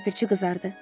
Ləpirçi qızardı.